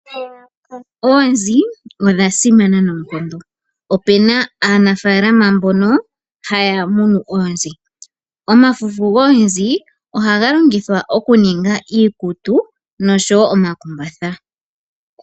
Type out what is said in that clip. Oonzi odha simana noonkondo. Opena aanafalama mbono haya munu oonzi. Omafufu goonzi ohaga longithwa okuninga iikutu noshowo omakumbatha.